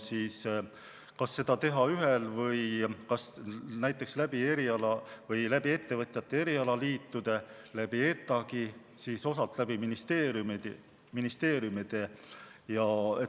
Kas seda teha näiteks ettevõtjate erialaliitude kaudu, ETAg-i kaudu, osalt ministeeriumide kaudu?